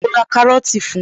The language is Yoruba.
Mo ra kárọ́tì fun